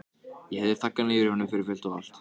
Ég hef þaggað niður í honum fyrir fullt og allt.